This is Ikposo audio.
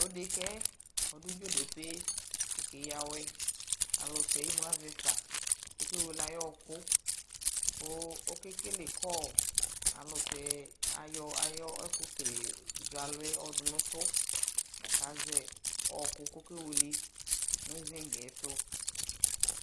tʋ ɛdɛkaɛ kʋ ɔdʋ dzɔdɔpèɛ kɛ ya awɛ alʋtɛ ɛmʋ aɣɛ ƒa kʋ ɔkɛ wɛlɛ ayiɔ ɔkʋ kʋ ɔkɛkɛlɛ call alʋtɛ ayɔ ayɛ ɛkʋ zɔ alʋɛ yɔdʋ nʋ tʋ lakʋ azɛ ɔkʋ kʋ ɔkɛ wɛlɛ nʋ sinkɛ ɛtʋ.